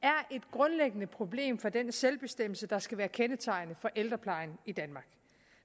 grundlæggende problem for den selvbestemmelse der skal være kendetegnende for ældreplejen i danmark